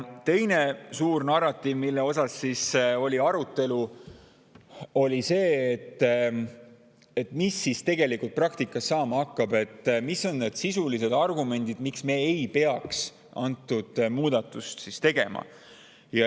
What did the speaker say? Teine suur narratiiv, mille üle oli arutelu, oli see, et mis siis tegelikult praktikas saama hakkab ja mis on need sisulised argumendid, miks me ei peaks seda muudatust tegema.